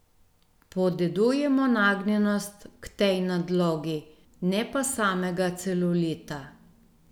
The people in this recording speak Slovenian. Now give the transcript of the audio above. Podedujemo nagnjenost k tej nadlogi, ne pa samega celulita.